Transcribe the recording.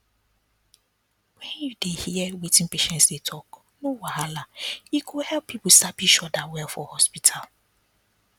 when you dey hear wetin patients dey talk no wahala e go help people sabi each other well for hospital